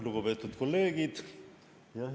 Lugupeetud kolleegid!